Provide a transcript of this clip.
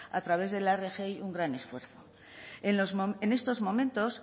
a través de la rgi un gran esfuerzo en estos momentos